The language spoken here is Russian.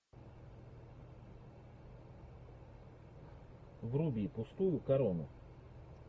вруби пустую корону